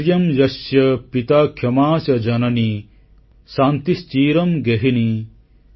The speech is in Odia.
ଧୈର୍ଯ୍ୟଂ ଯସ୍ୟ ପିତା କ୍ଷମା ଚ ଜନନୀ ଶାନ୍ତି ଶ୍ଚିରଂ ଗେହିନୀ